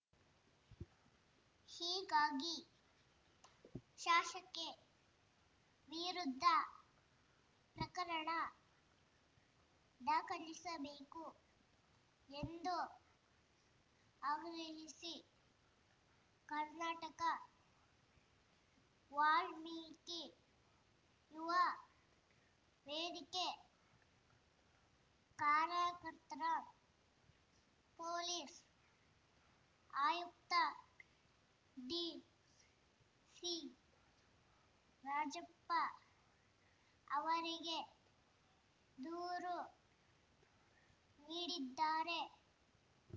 ಹೀಗಾಗಿ ಶಾಸಕಿ ವಿರುದ್ಧ ಪ್ರಕರಣ ದಾಖಲಿಸಬೇಕು ಎಂದು ಆಗ್ರಹಿಸಿ ಕರ್ನಾಟಕ ವಾಲ್ಮೀಕಿ ಯುವ ವೇದಿಕೆ ಕಾರ್ಯಕರ್ತರ ಪೊಲೀಸ್‌ ಆಯುಕ್ತ ಟಿ ಸಿರಾಜಪ್ಪ ಅವರಿಗೆ ದೂರು ನೀಡಿದ್ದಾರೆ